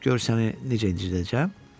Gör səni necə incidirəcəm.